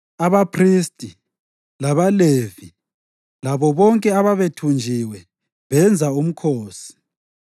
Kwasekusithi abantu bako-Israyeli, abaphristi, labaLevi labo bonke ababethunjiwe benza umkhosi.